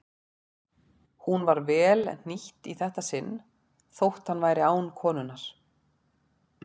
Hún var vel hnýtt í þetta sinn þótt hann væri án konunnar.